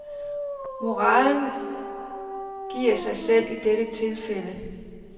Moralen giver sig selv i dette tilfælde.